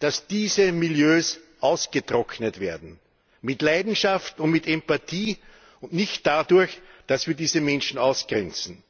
dass diese Milieus ausgetrocknet werden mit Leidenschaft und mit Empathie, und nicht dadurch, dass wir diese Menschen ausgrenzen.